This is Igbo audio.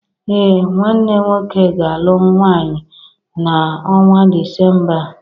Ee, nwanne nwọke ga-alụ nwaanyi na ọnwa dịcemba a